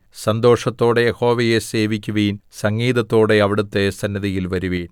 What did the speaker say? സന്തോഷത്തോടെ യഹോവയെ സേവിക്കുവിൻ സംഗീതത്തോടെ അവിടുത്തെ സന്നിധിയിൽ വരുവിൻ